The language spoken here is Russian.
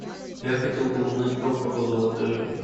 я хотел бы узнать про погоду в отеле